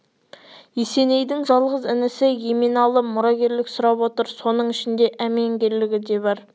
есенейдің жалғыз інісі еменалы мұрагерлік сұрап отыр соның ішінде әменгерлігі де бар